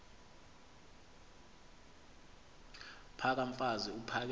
phaka mfaz uphakele